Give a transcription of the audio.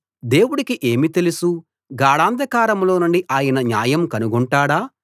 దేవుడికి ఏమి తెలుసు గాఢాంధకారంలోనుండి ఆయన న్యాయం కనుగొంటాడా